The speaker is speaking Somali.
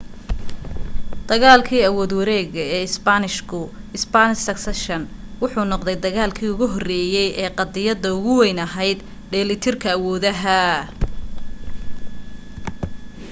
dagaalkii awood-wareegga ee isbaanishka spanish succession wuxuu noqday dagaalki ugu horeeyay ee qadiyadda ugu weyn ahayd dheellitirka awoodaha